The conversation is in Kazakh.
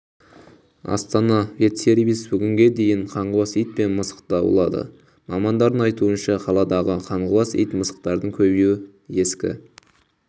астана ветсервис бүгінге дейін қаңғыбас ит пен мысықты аулады мамандардың айтуынша қаладағы қаңғыбас ит-мысықтардың көбеюі ескі